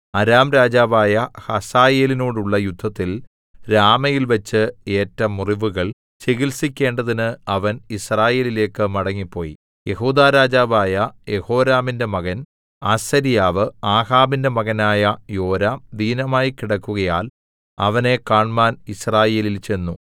അരാം രാജാവായ ഹസായേലിനോടുള്ള യുദ്ധത്തിൽ രാമയിൽവെച്ച് ഏറ്റ മുറിവുകൾ ചികിത്സിക്കേണ്ടതിന് അവൻ യിസ്രയേലിലേക്ക് മടങ്ങിപ്പോയി യെഹൂദാ രാജാവായ യെഹോരാമിന്റെ മകൻ അസര്യാവ് ആഹാബിന്റെ മകനായ യോരാം ദീനമായി കിടക്കുകയാൽ അവനെ കാണ്മാൻ യിസ്രയേലിൽ ചെന്നു